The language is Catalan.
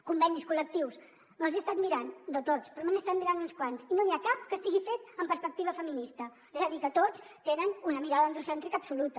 convenis col·lectius me’ls he estat mirant no tots però me n’he estat mirant uns quants i no n’hi ha cap que estigui fet amb perspectiva feminista és a dir que tots tenen una mirada androcèntrica absoluta